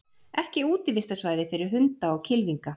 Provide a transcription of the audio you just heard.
Ekki útivistarsvæði fyrir hunda og kylfinga